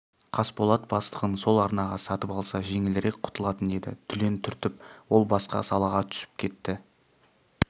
қасболат бастығын сол арнаға салып алса жеңілірек құтылатын еді түлен түртіп ол басқа салаға түсіп кетті